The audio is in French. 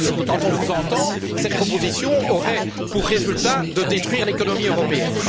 Car enfin, quand on vous entend, cette proposition aurait pour résultat de détruire l'économie européenne.